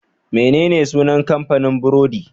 Menene sunan kamfanin burodi?